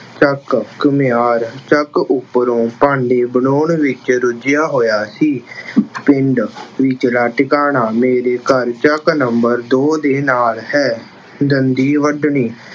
ਚੱਕ- ਘੁੰਮਿਆਰ ਚੱਕ ਉੱਪਰੋਂ ਭਾਂਡੇ ਬਣਾਉਣ ਵਿੱਚ ਰੁੱਝਿਆ ਹੋਇਆ ਸੀ। ਪਿੰਡ ਵਿਚਲਾ ਟਿਕਾਣਾ- ਮੇਰੇ ਘਰ ਚੱਕ number ਦੋ ਦੇ ਨਾਲ ਹੈ। ਦੰਦੀ ਵੱਢਣੀ-